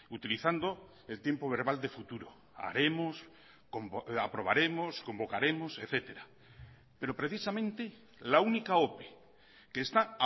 utilizando el tiempo verbal de futuro haremos aprobaremos convocaremos etcétera pero precisamente la única ope que está